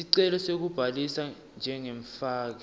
sicelo sekubhalisa njengemfaki